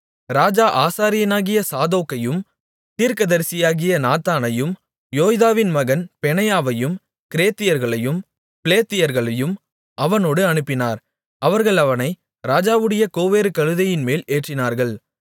ராஜா ஆசாரியனாகிய சாதோக்கையும் தீர்க்கதரிசியாகிய நாத்தானையும் யோய்தாவின் மகன் பெனாயாவையும் கிரேத்தியர்களையும் பிலேத்தியர்களையும் அவனோடு அனுப்பினார் அவர்கள் அவனை ராஜாவுடைய கோவேறு கழுதையின்மேல் ஏற்றினார்கள்